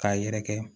K'a yɛrɛkɛ